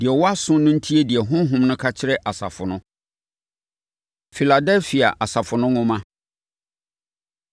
Deɛ ɔwɔ aso no ntie deɛ Honhom no ka kyerɛ asafo no. Filadelfia Asafo No Nwoma